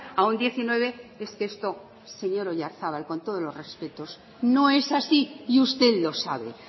a un diecinueve es que esto señor oyarzabal con todos los respetos no es así y usted lo sabe